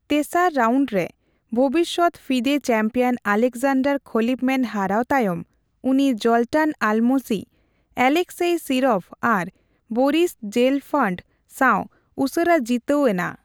ᱛᱮᱥᱟᱨ ᱨᱟᱣᱱᱰ ᱨᱮ ᱵᱷᱚᱵᱤᱥᱚᱫ ᱯᱷᱤᱫᱮ ᱪᱮᱢᱯᱤᱭᱚᱱ ᱟᱞᱮᱠᱡᱟᱱᱰᱟᱨ ᱠᱷᱚᱞᱤᱯᱢᱮᱱ ᱦᱟᱨᱟᱣ ᱛᱟᱭᱚᱢ, ᱩᱱᱤ ᱡᱚᱞᱴᱟᱱ ᱟᱞᱢᱚᱥᱤ, ᱮᱞᱮᱠᱥᱮᱭ ᱥᱤᱨᱚᱵᱷ ᱟᱨ ᱵᱚᱨᱤᱥ ᱡᱮᱞᱯᱷᱟᱱᱰ ᱥᱟᱣ ᱩᱥᱟᱹᱨᱟ ᱡᱤᱛᱟᱹᱣ ᱮᱱᱟ ᱾